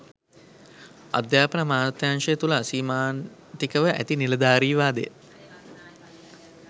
අධ්‍යාපන අමාත්‍යාංශය තුළ අසීමාන්තිකව ඇති නිලධාරීවාදය